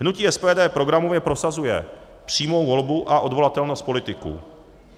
Hnutí SPD programově prosazuje přímou volbu a odvolatelnost politiků.